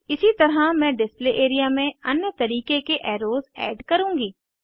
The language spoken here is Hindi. इसी तरह मैं डिस्प्ले एरिया में अन्य तरीके के एर्रोस ऐड करुँगी